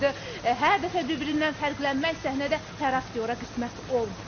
Hər dəfə bir-birindən fərqlənmək səhnədə hər aktyora qismət olmur.